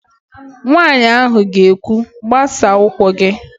Nwaanyị ahụ ga-ekwu, "gbasaa ụkwụ gị"!